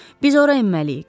Biz ora enməliyik.